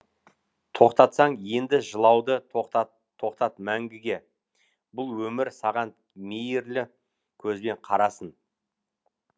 тоқтатсаң енді жылауды тоқтат тоқтат мәңгіге бұл өмір саған мейірлі көзбен қарасын